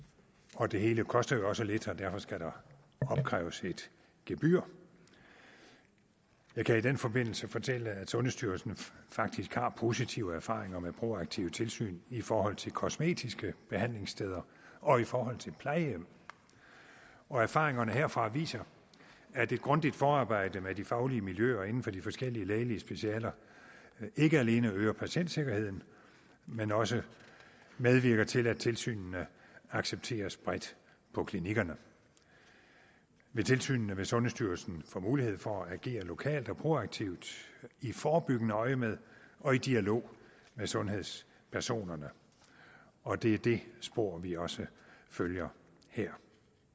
og det hele koster jo også lidt og derfor skal der opkræves et gebyr jeg kan i den forbindelse fortælle at sundhedsstyrelsen faktisk har positive erfaringer med proaktive tilsyn i forhold til kosmetiske behandlingssteder og i forhold til plejehjem erfaringerne herfra viser at et grundigt forarbejde med de faglige miljøer inden for de forskellige lægelige specialer ikke alene øger patientsikkerheden men også medvirker til at tilsynene accepteres bredt på klinikkerne ved tilsynene vil sundhedsstyrelsen få mulighed for at agere lokalt og proaktivt i forebyggende øjemed og i dialog med sundhedspersoner og det er det spor vi også følger her